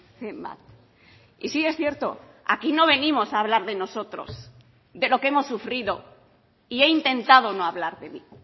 zenbat y sí es cierto aquí no venimos a hablar de nosotros de lo que hemos sufrido y he intentado no hablar de mí